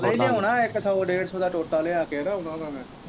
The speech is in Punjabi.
ਨਹੀਂ ਲਿਆਉਣਾ ਹੈ ਇੱਕ ਸਗੋਂ ਡੇਢ ਸੋ ਦਾ ਟੋਟਾ ਲਿਆ ਕੇ ਉਹਨਾਂ ਦਾ ਮੈਂ।